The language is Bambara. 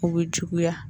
U bɛ juguya